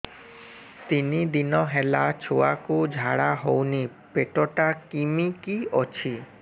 ତିନି ଦିନ ହେଲା ଛୁଆକୁ ଝାଡ଼ା ହଉନି ପେଟ ଟା କିମି କି ଅଛି